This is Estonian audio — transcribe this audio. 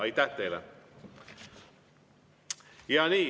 Aitäh teile!